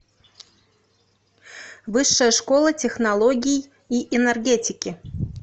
высшая школа технологий и энергетики